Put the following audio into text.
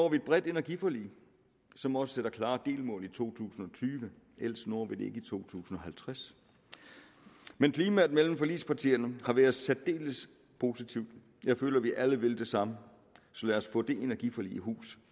et bredt energiforlig som også sætter klare delmål i to tusind og tyve ellers når vi det ikke i to tusind og halvtreds men klimaet mellem forligspartierne har været særdeles positivt jeg føler vi alle vil det samme så lad os få det energiforlig i hus